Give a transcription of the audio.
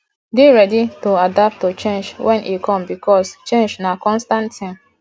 dey ready to adapt to changes when e come because change na constant thing